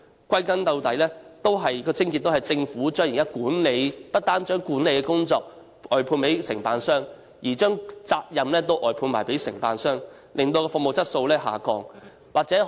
歸根究底，問題的癥結在於政府不但將管理的工作外判給承辦商，連責任也一併外判給承辦商，導致服務質素下降。